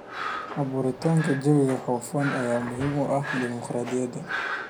Abuuritaanka jawi hufan ayaa muhiim u ah dimuqraadiyadda.